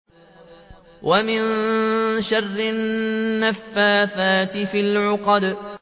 وَمِن شَرِّ النَّفَّاثَاتِ فِي الْعُقَدِ